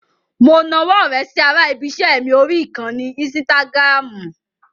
Mo nawọ́ ọ̀rẹ́ sí ara ibi-iṣẹ́ mi orí ìkànnì ínsítágìràmù.